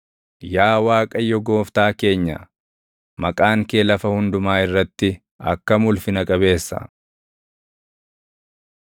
Yaa Waaqayyo Gooftaa keenya, maqaan kee lafa hundumaa irratti akkam ulfina qabeessa!